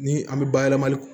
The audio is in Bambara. Ni an bɛ bayɛlɛmali